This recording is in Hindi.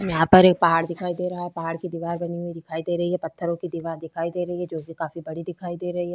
यहाँ पर एक पहाड़ दिखाई दे रहा है पहाड़ की दीवार बनी हुई दिखाई दे रही है पत्थरों की दीवार दिखाई दे रही है जो की काफी बड़ी दिखाई दे रही है।